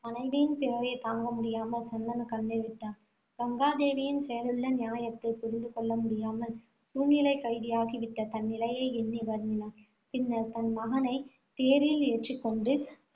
மனைவியின் பிரிவைத் தாங்க முடியாமல் சந்தனு கண்ணீர் விட்டான். கங்காதேவியின் செயலிலுள்ள நியாயத்தைப் புரிந்து கொள்ள முடியாமல், சூழ்நிலைக் கைதியாகி விட்ட தன் நிலையை எண்ணி வருந்தினான். பின்னர் தன் மகனை தேரில் ஏற்றிக் கொண்டு